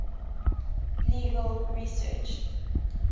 legal research